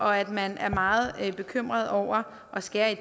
og at man er meget bekymret over at skære i